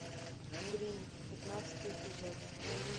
гримм пятнадцатый эпизод